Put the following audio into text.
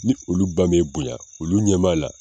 Ni olu ba m'e bonya olu ɲɛm'ala